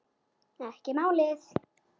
Ekki málið!